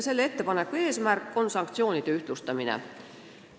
Selle ettepaneku eesmärk on sanktsioonide ühtlustamine.